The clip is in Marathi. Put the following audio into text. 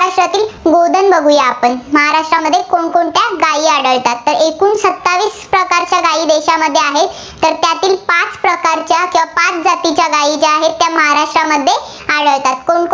पशूधन बघुया आपण. महाराष्ट्रामध्ये कोणकोणत्या गायी आढळतात. एकूण सत्तावीस प्रकारच्या गायी देशामध्ये आहेत. तर त्यातील पाच प्रकारच्या, पाच जातीच्या गायी ज्या आहेत, त्या महाराष्ट्रामध्ये आढळतात. कोणकोण